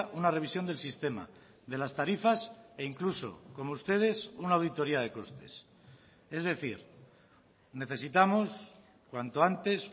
una revisión del sistema de las tarifas e incluso como ustedes una auditoria de costes es decir necesitamos cuanto antes